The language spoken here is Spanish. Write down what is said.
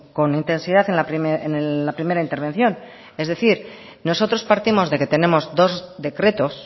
con intensidad en la primera intervención es decir nosotros partimos de que tenemos dos decretos